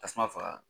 Tasuma faga